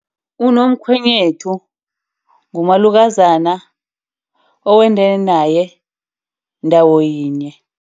Unomkhwenyethu ngumalukazana owende naye ndawo yinye.